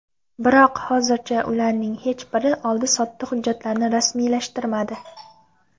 Biroq hozircha ularning hech biri oldi-sotdi hujjatlarini rasmiylashtirmadi.